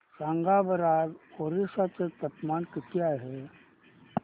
सांगा बरं आज ओरिसा चे तापमान किती आहे